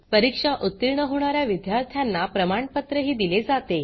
परीक्षा उतीर्ण होणा या विद्यार्थ्यांना प्रमाणपत्रही दिले जाते